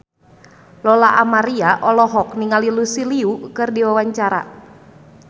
Lola Amaria olohok ningali Lucy Liu keur diwawancara